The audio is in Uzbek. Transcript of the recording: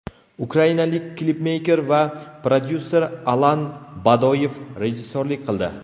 Ukrainalik klipmeyker va prodyuser Alan Badoyev rejissyorlik qildi.